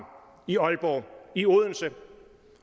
i aalborg og i odense